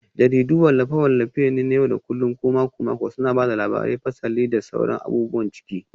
Jaridu wallafe-wallafe ne na yau da kullun ko mako-mako suna ba da labarai, fasali, da sauran abubuwan ciki.